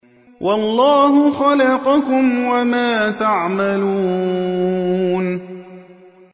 وَاللَّهُ خَلَقَكُمْ وَمَا تَعْمَلُونَ